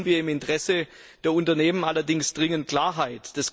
Hier brauchen wir im Interesse der Unternehmen allerdings dringend Klarheit.